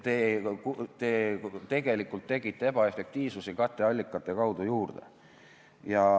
Te tegelikult tegite ebaefektiivsust katteallikate kaudu juurde.